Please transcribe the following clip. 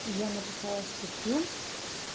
я написала статью